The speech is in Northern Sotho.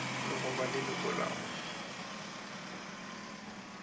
le go ba leloko la